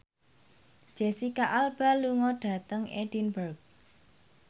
Jesicca Alba lunga dhateng Edinburgh